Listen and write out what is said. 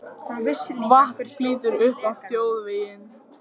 Vatn flýtur upp á þjóðveginn